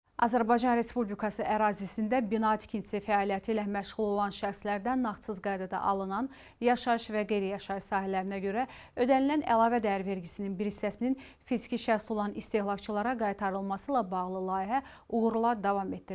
Azərbaycan Respublikası ərazisində bina tikintisi fəaliyyəti ilə məşğul olan şəxslərdən nağdsız qaydada alınan yaşayış və qeyri-yaşayış sahələrinə görə ödənilən əlavə dəyər vergisinin bir hissəsinin fiziki şəxs olan istehlakçılara qaytarılması ilə bağlı layihə uğurla davam etdirilir.